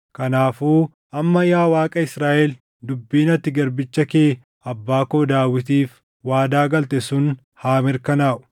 Kanaafuu amma yaa Waaqa Israaʼel dubbiin ati garbicha kee abbaa koo Daawitiif waadaa galte sun haa mirkanaaʼu.